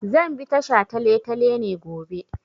Zan bi ta shataletale ne gobe.